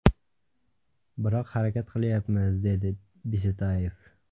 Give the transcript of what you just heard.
Biroq harakat qilyapmiz”, dedi Bisetayev.